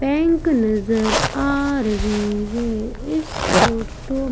पैंक नजर आ रही है। इस फोटो --